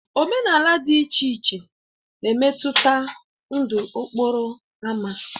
Omenala dị iche iche na-emetụta ndụ okporo ámá.